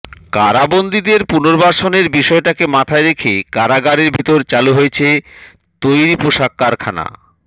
কারাবন্দিদের পুর্নবাসনের বিষয়টাকে মাথায় রেখে কারাগারের ভেতর চালু হয়েছে তৈরি পোশাক কারখানা